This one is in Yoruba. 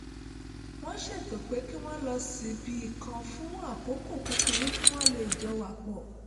won seto pe ki won lo si ibi kan fun akoko kukuru ki won lee jo wa po